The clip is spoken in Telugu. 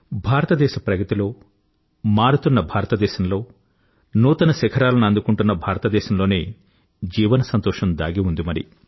భారతదేశ ప్రగతిలో మారుతున్న భారతదేశంలో నూతన శిఖరాలను అందుకుంటున్న భారతదేశంలోనే జీవన సంతోషం దాగి ఉంది మరి